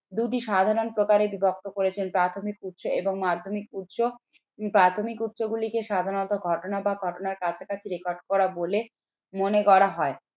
দুটি সাধারণ প্রকারের বিভক্ত করেছেন। প্রাথমিক উৎস এবং মাধ্যমিক উৎস। প্রাথমিক উৎসগুলিকে সাধারণত ঘটনা বা ঘটনার কাছাকাছি record করা বলে মনে করা হয়।